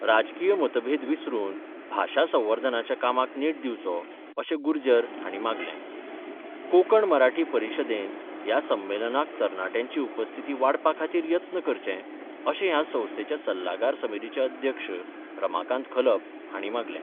राजकीय मतभेद विसरून भाषा संवर्धनाच्या कामाक नेट दिवचो अशें गुर्जर हांणी मांगलें कोंकण मराठी परीशदेन या संमेलनाक तरनाट्यांची उपस्थिती वाडपा खातीर यत्न करचें अशें ह्या संस्थेच्या सल्लागार समितीचे अध्यक्ष रमाकांत खलप हांणी मांगले.